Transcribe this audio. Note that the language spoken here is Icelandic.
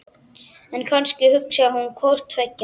En kannski hugsaði hún hvort tveggja.